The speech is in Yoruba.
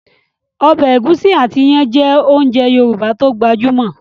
Ọbẹ̀ ẹ̀gúsí àti iyán jẹ́ ounjẹ Yorùbá tó gbajúmọ̀